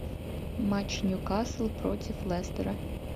матч ньюкасл против лестера